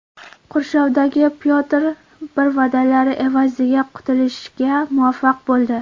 Qurshovdagi Pyotr I va’dalar evaziga qutulishga muvaffaq bo‘ldi.